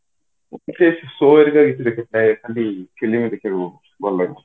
ମତେ ସେଇ show ହେରିକା ଦେଖିବାକୁ ନାହିଁ ପ୍ରାୟ ଖାଲି film ଦେଖିବାକୁ ଭଲ ଲାଗେ